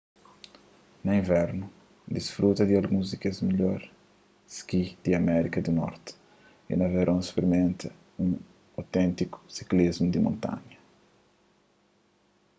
na invernu disfruta di alguns di kes midjor ski di amérika du norti y na veron sprimenta un oténtiku siklismu di montanha